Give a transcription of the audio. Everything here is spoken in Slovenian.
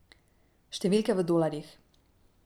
Številke v dolarjih.